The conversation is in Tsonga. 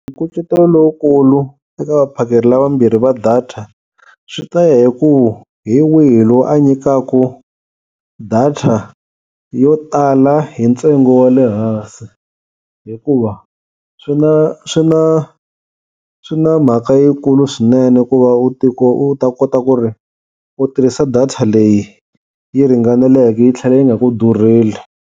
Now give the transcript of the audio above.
Nkucetelo lowukulu eka vaphakeri lavambirhi va data swi ta ya hi ku hi wihi loyi a nyikaku data yo tala hi ntsengo wa le hansi, hikuva swi na swi na swi na mhaka yikulu swinene ku va u u ta kota ku ri u tirhisa data leyi yi ringaneleke yi tlhela yi nga ku durheli.